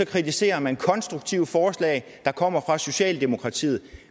kritiserer man konstruktive forslag der kommer fra socialdemokratiet